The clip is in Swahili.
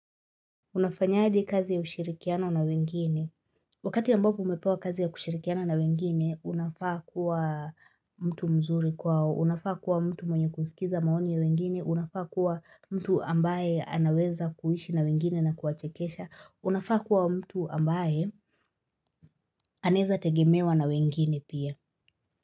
Unafanyaje kazi ya ushirikiano na wengine, wakati ambapo umepewa kazi ya kushirikiana na wengine, unafaa kuwa mtu mzuri kwao, unafaa kuwa mtu mwenye kusikiza maoni ya wengine, unafaa kuwa mtu ambaye anaweza kuishi na wengine na kuwachekesha, unafaa kuwa mtu ambaye aneza tegemewa na wengine pia.